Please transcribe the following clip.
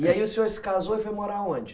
E aí o senhor se casou e foi morar onde?